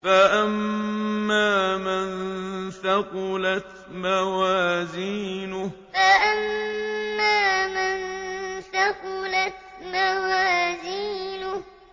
فَأَمَّا مَن ثَقُلَتْ مَوَازِينُهُ فَأَمَّا مَن ثَقُلَتْ مَوَازِينُهُ